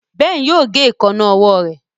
Ben yóò gé Èékánná ọwọ́ rẹ.